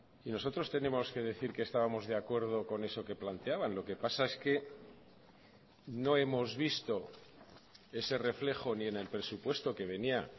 y nosotros tenemos que decir que estábamos de acuerdo con eso que planteaban lo que pasa es que no hemos visto ese reflejo ni en el presupuesto que venía